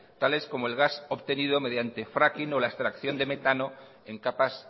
tales como el gas obtenido mediante fraking o la extracción de metano en capas